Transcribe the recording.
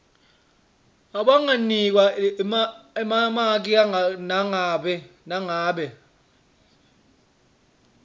abanganikwa emamaki nangabe